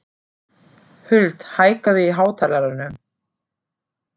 Huld, hækkaðu í hátalaranum.